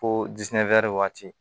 Ko waati